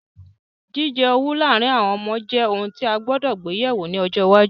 Jíjẹ owú láàrin àwon ọmọ je oun ti a gbúdọ̀ gbe yẹ̀wo ni ojo iwáju